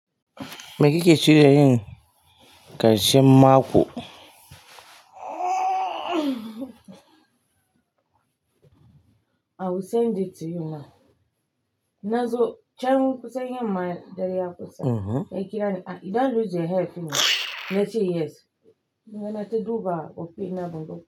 Me kike shirin yi? Karshen maku. I will send it to you now. Nazo can you kusa yamma dare ya kusa? Mm-hmm. Ya kira ni, "Ah, you don't lose your health, you know?" Na ce yes. Nawa na ta duba ofe na ban ga.